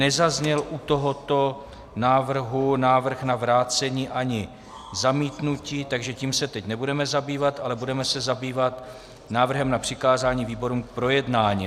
Nezazněl u tohoto návrhu návrh na vrácení ani zamítnutí, takže tím se teď nebudeme zabývat, ale budeme se zabývat návrhem na přikázání výborům k projednání.